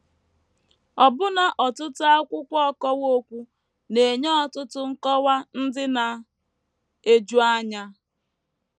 Ọbụna ọtụtụ akwụkwọ ọkọwa okwu na - enye ọtụtụ nkọwa ndị na - eju anya.